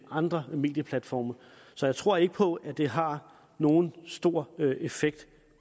andre medieplatforme så jeg tror ikke på at det har nogen stor effekt